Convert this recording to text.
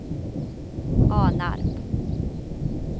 Alnarp